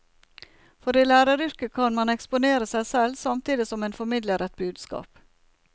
For i læreryrket kan man eksponere seg selv, samtidig som en formidler et budskap.